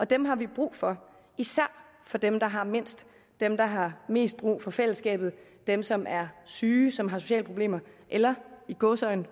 dem har vi brug for især for dem der har mindst dem der har mest brug for fællesskabet dem som er syge som har sociale problemer eller i gåseøjne